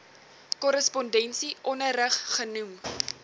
korrespondensie onderrig genoem